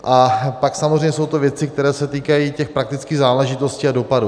A pak samozřejmě to jsou věci, které se týkají těch praktických záležitostí a dopadů.